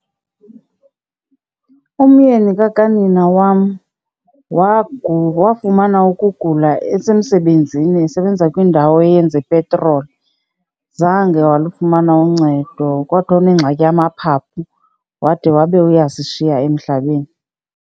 Umyeni kakanina wam wafumana ukugula esemsebenzini esebenzisa kwindawo eyenza ipetroli. Zange walufumana uncedo. Kwathiwa unengxaki yamaphaphu wade wabe uyasishiya emhlabeni.